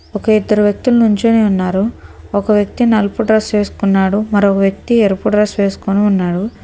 ఒకే ఇద్దరు వ్యక్తులు నుంచోని ఉన్నారు ఒక వ్యక్తి నలుపు డ్రెస్ వేస్కున్నాడు మరో వ్యక్తి ఎరుపు డ్రెస్ వేస్కొని ఉన్నారు.